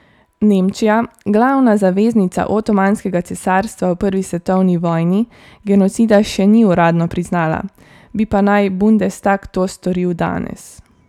Nemčija, glavna zaveznica Otomanskega cesarstva v prvi svetovni vojni, genocida še ni uradno priznala, bi pa naj bundestag to storil danes.